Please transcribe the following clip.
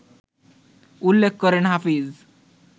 উল্লেখ করেন হাফিজ